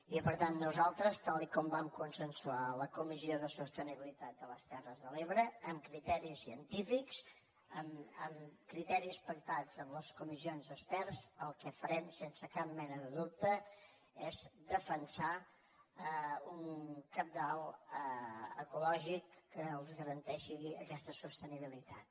i per tant nosaltres tal com vam consensuar a la comissió de sostenibilitat de les terres de l’ebre amb criteris científics amb criteris pactats amb les comissions d’experts el que farem sense cap mena de dubte és defensar un cabal ecològic que els garanteixi aquesta sostenibilitat